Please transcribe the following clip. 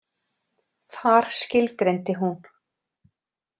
Þar skilgreindi hún.